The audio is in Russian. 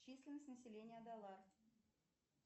численность населения далар